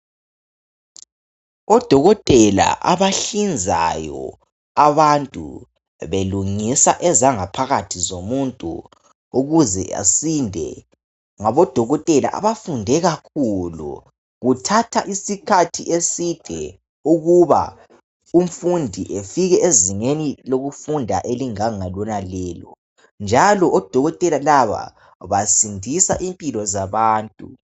Odokotela abahlinzayo abantu belungisa ezangaphakathi zomuntu ukuze asinde, ngabodokotela abafunde kakhulu. Kuthatha iskhathi eside ukuba umfundi efike ezingeni elinjengalonalelo, njalo odokotela laba basindisa impilo zabantu.